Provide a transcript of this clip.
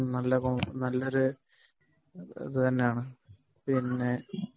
ഉം നല്ലൊരു നല്ല ഒരു ഇത് തന്നെയാണ്